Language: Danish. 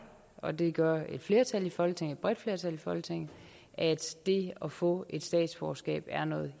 og det gør et flertal i folketinget et bredt flertal i folketinget at det at få et statsborgerskab er noget